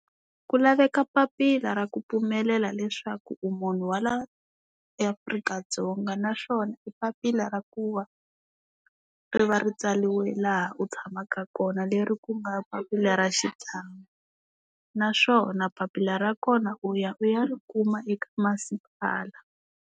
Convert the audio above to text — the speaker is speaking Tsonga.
Ku laveka papila ra ku pfumelela leswaku u munhu wa la eAfrika-Dzonga, naswona i papila ra ku va ri va ri tsariwe laha u tshamaka kona leri ku nga papila ra xitshamo, naswona papila ra kona u ya u ya ri kuma eka masipala.